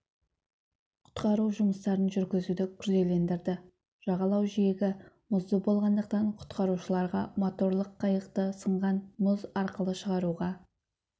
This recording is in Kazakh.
құтқару жұмыстарын жүргізуді күрделендірді жағалау жиегі мұзды болғандықтан құтқарушыларға моторлық қайықты сынған мұз арқылы шығаруға